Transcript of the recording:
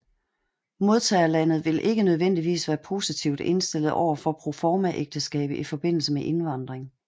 Modtagerlandet vil ikke nødvendigvis være positivt indstillet overfor proformaægteskab i forbindelse med indvandring